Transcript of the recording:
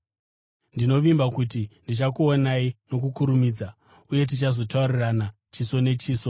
Ndinovimba kuti ndichakuonai nokukurumidza, uye tichazotaurirana chiso nechiso.